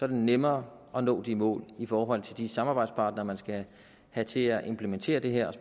det nemmere at nå de mål i forhold til de samarbejdspartnere man skal have til at implementere det her og